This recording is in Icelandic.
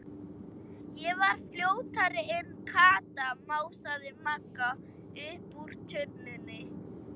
Ég var fljótari en Kata, másaði Magga upp úr tunnunni.